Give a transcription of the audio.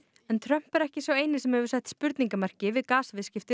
en Trump er ekki sá eini sem hefur sett spurningamerki við